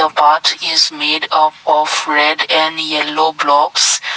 a path is made up of red and yellow blocks.